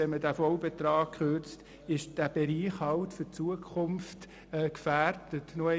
Würde um den vollen Betrag gekürzt, wird dieser Bereich in Zukunft gefährdet sein.